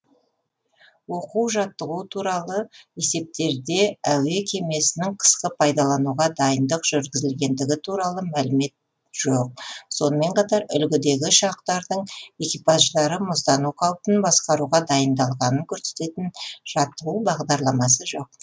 оқу жаттығу туралы есептерде әуе кемесінің қысқы пайдалануға дайындық жүргізілгендігі туралы мәлімет жоқ сонымен қатар үлгідегі ұшақтардың экипаждары мұздану қаупін басқаруға дайындалғанын көрсететін жаттығу бағдарламасы жоқ